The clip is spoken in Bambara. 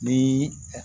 Ni